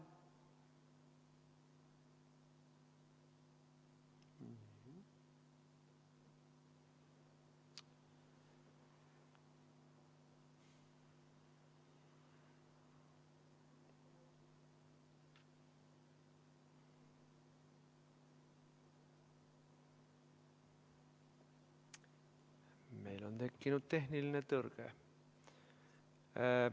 Meil on tekkinud tehniline tõrge.